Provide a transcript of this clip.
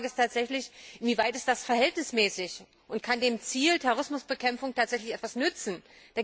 Die erste Frage ist tatsächlich, inwieweit das verhältnismäßig ist und dem Ziel der Terrorismusbekämpfung tatsächlich etwas nützen kann.